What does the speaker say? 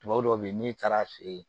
Tubabu dɔw bɛ yen n'i taara feere